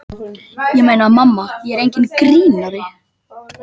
Ég meina, mamma er enginn grínari.